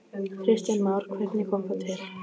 Kristján Már: Hvernig kom það til?